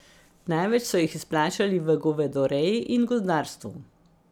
Največ so jih izplačali v govedoreji in gozdarstvu.